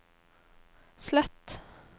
slett